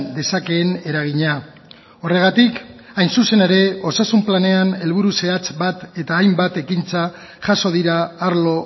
dezakeen eragina horregatik hain zuzen ere osasun planean helburu zehatz bat eta hainbat ekintza jaso dira arlo